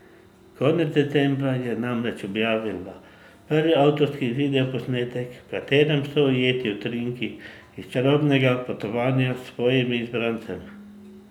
Konec decembra je namreč objavila prvi avtorski videoposnetek, v katerem so ujeti utrinki iz čarobnega potovanja s svojim izbrancem.